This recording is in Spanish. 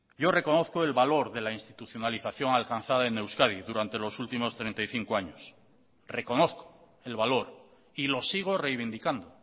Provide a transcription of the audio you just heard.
yo reconozco el valor de la institucionalización alcanzada en euskadi durante los últimos treinta y cinco años reconozco el valor y lo sigo reivindicando